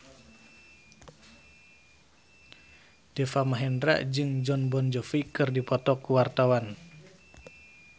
Deva Mahendra jeung Jon Bon Jovi keur dipoto ku wartawan